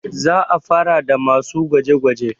za a fara da masu gwaje -gwaje